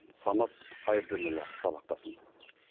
самат қайырденұлы сабақтасын